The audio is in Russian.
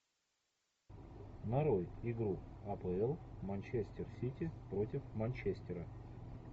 нарой игру апл манчестер сити против манчестера